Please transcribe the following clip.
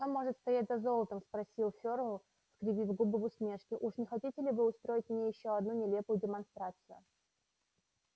что может стоять за золотом спросил ферл скривив губы в усмешке уж не хотите ли вы устроить мне ещё одну нелепую демонстрацию